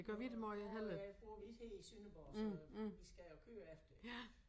Og bor øh bor vi ikke her i Sønderborg så vi skal jo køre efter det